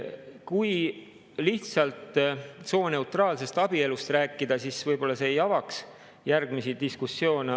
Kui lihtsalt sooneutraalsest abielust rääkida, siis võib-olla see ei avaks järgmisi diskussioone.